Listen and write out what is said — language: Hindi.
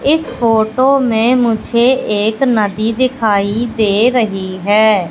इस फोटो में मुझे एक नदी दिखाई दे रही है।